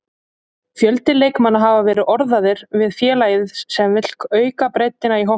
Fjöldi leikmanna hafa verið orðaðir við félagið sem vill auka breiddina í hópnum.